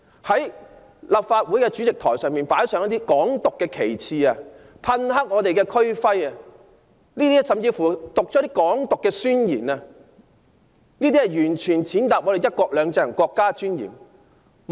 他們在立法會主席台上擺設"港獨"旗幟，噴黑區徽，甚至作出"港獨"宣言，這些全是踐踏"一國兩制"和國家尊嚴的行為。